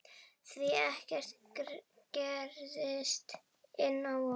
Því ekkert gerist án vonar.